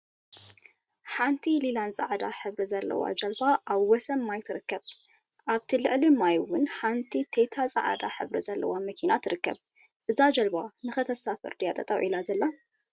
ሓንቲ ሊላን ፃዕዳን ሕብሪ ዘለዋ ጃልባ አብ ወሰን ማይ ትርከብ፡፡ አብቲ ልዕሊ ማይ እውን ሓንቲ ቴታ ፃዕዳ ሕብሪ ዘለዋ መኪና ትርከብ፡፡ እዛ ጀልባ ንክተሳፍር ድያ ጠጠው ኢላ ዘላ?